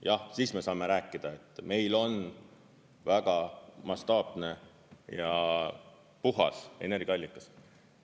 Jah siis me saame rääkida, et meil on väga mastaapne ja puhas energiaallikas.